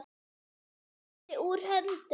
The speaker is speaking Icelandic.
Úr landi, úr höndum.